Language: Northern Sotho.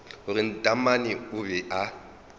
gore taamane o be a